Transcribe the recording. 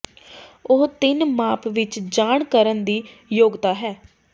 ਉਹ ਤਿੰਨ ਮਾਪ ਵਿੱਚ ਜਾਣ ਕਰਨ ਦੀ ਯੋਗਤਾ ਹੈ